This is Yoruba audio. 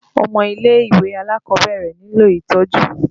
Ọmọ ilé-ìwé alákọ̀ọ́bẹ̀rẹ̀ nílò itọ́jú.